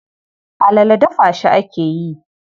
Alala dafa shi ake yi.